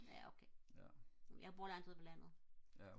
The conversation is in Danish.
ja okay jeg bor langt ude på landet